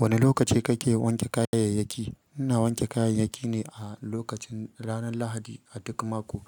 Wane lokaci kake wanke kayayyakki? Ina wanke kayayyaki ne a lokacin ranar Lahadi a duk mako.